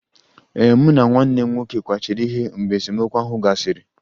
Ee, mụ na nwanne m nwoke kwachiri ihe mgbe esemokwu ahụ gasịrị